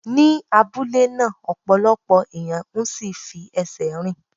Ni abúlé náà, ọ̀pọ̀lọpọ̀ ẹ̀yàn ń sí ì fi ẹsẹ̀ rìn.